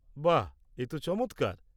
বাহ, এ তো চমৎকার।